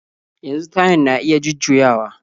Yanzu tayan na iya jujjuyawa